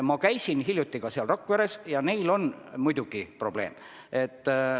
Ma käisin hiljuti ka seal Rakveres ja neil on muidugi probleeme.